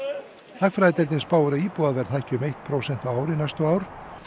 hagfræðideildin spáir að íbúðaverð hækki um eitt prósent á ári næstu ár